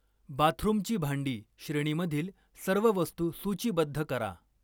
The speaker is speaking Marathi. बाथरूमची भांडी श्रेणीमधील सर्व वस्तू सूचीबद्ध करा